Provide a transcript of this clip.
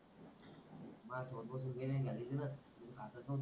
माया झोपच वेड नाही झाली तुल मी खातच होतो,